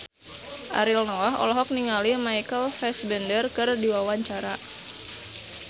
Ariel Noah olohok ningali Michael Fassbender keur diwawancara